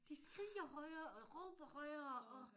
De skriger højere og råber højere og